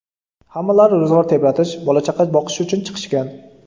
Hammalari ro‘zg‘or tebratish, bola-chaqa boqish uchun chiqishgan.